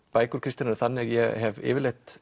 bækur Kristínar eru þannig að ég hef yfirleitt